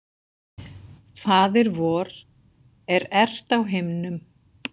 Faðir vor, er ert á himnum.